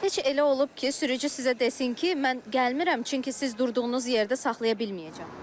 Heç elə olub ki, sürücü sizə desin ki, mən gəlmirəm, çünki siz durduğunuz yerdə saxlaya bilməyəcəm.